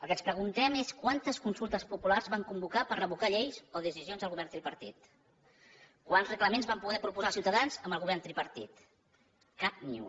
el que ens preguntem és quantes consultes populars van convocar per revocar lleis o decisions del govern tripartit quants reglaments van poder proposar als ciutadans amb el govern tripartit cap ni un